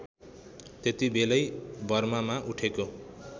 त्यतिबेलै बर्मामा उठेको